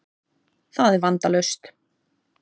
Það er vandalaust.